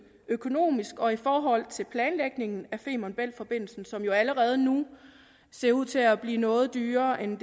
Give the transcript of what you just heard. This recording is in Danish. økonomisk og i forhold til planlægningen af femern bælt forbindelsen som jo allerede nu ser ud til at blive noget dyrere end